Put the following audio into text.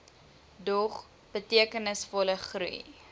dog betekenisvolle groei